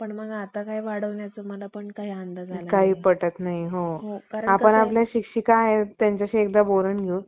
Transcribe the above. आपल्या मनगटाचे लिंग करून, भटांच्या पूर्वजांस आपले दास करण्यास कमी केले असते काय? असो. पुढे जेव्हा भटांनी त्या आपल्या पूर्वजांच्या